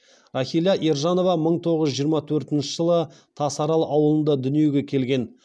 рахила ержанова мың тоғыз жүз жиырма төртінші жылы тасарал ауылында дүниеге келген